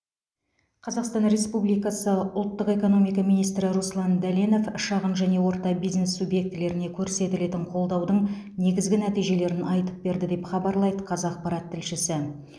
қазақстан республикасы ұлттық экономика министрі руслан дәленов шағын және орта бизнес субъектілеріне көрсетілетін қолдаудың негізгі нәтижелерін айтып берді деп хабарлайды қазақпарат тілшісі